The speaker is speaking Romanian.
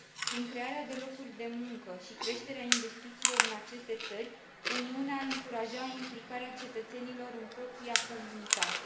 Prin crearea de locuri de muncă și creșterea investițiilor în aceste țări, Uniunea ar încuraja implicarea cetățenilor în propria comunitate.